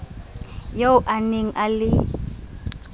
eo a ne a le